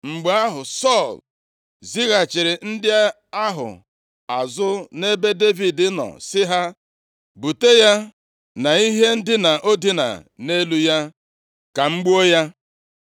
Mgbe ahụ, Sọl zighachiri ndị ahụ azụ nʼebe Devid nọ si ha, “Bute ya na ihe ndina o dina nʼelu ya, ka m gbuo ya.”